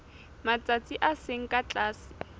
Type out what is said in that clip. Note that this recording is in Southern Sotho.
matsatsi a seng ka tlase